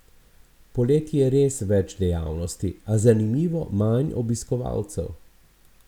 Poleti je res več dejavnosti, a zanimivo manj obiskovalcev.